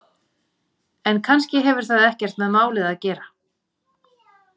En kannski hefur það ekkert með málið að gera.